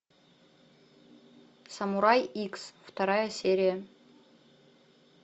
самурай икс вторая серия